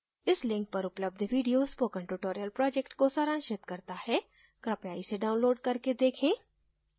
इस link पर उपलब्ध video spoken tutorial project को सारांशित करता है कृपया इसे download करके देखें